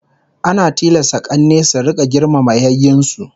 Ana tilasta k'anne su rika girmama yayyen su